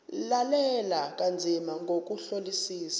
lalela kanzima ngokuhlolisisa